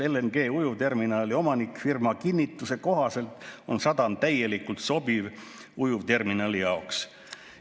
LNG‑ujuvterminali omanikfirma kinnituse kohaselt on sadam täielikult sobiv ujuvterminali jaoks.